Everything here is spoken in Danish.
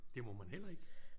Det må man heller ikke?